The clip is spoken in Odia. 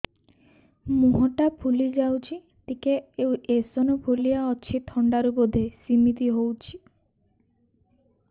ମୁହଁ ଟା ଫୁଲି ଯାଉଛି ଟିକେ ଏଓସିନୋଫିଲିଆ ଅଛି ଥଣ୍ଡା ରୁ ବଧେ ସିମିତି ହଉଚି